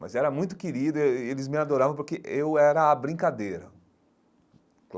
mas era muito querido e eles me adoravam porque eu era a brincadeira.